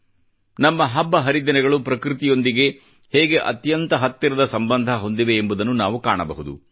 ನಮ್ಮ ಹಬ್ಬ ಹರಿದಿನಗಳು ಪ್ರಕೃತಿಯೊಂದಿಗೆ ಹೇಗೆ ಅತ್ಯಂತ ಹತ್ತಿರದ ಸಂಬಂಧ ಹೊಂದಿವೆ ಎಂಬುದನ್ನು ನಾವು ಕಾಣಬಹುದು